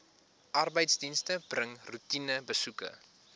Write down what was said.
arbeidsdienste bring roetinebesoeke